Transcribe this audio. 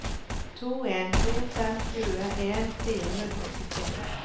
to en to fem tjueen fire hundre og syttini